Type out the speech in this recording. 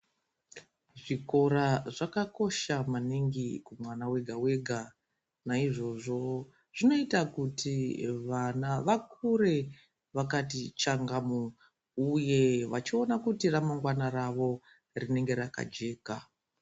Zvikora zvakakosha maningi kumwana wega wega naizvozvo zvinoita kuti vana vakure vakati changamu uye vachiona kuti ramangwana rawo rinenge rakajeka.